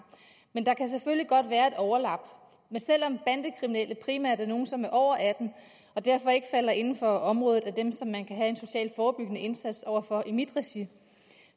men der kan selvfølgelig godt være et overlap men selv om bandekriminelle primært er nogle som er over atten år og derfor ikke falder inden for området med dem som man kan have en socialt forebyggende indsats over for i mit regi